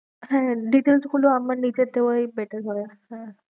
হ্যাঁ details গুলো আমার নিজের দেওয়াই better হবে হ্যাঁ